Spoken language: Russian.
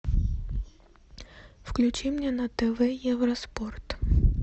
включи мне на тв евроспорт